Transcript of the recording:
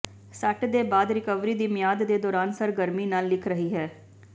ਸੱਟ ਦੇ ਬਾਅਦ ਰਿਕਵਰੀ ਦੀ ਮਿਆਦ ਦੇ ਦੌਰਾਨ ਸਰਗਰਮੀ ਨਾਲ ਲਿਖ ਰਹੀ ਹੈ